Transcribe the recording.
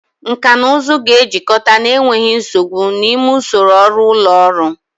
Nkà na ụzụ ga-ejikọta n'enweghị nsogbu n'ime usoro ọrụ ụlọ ọrụ.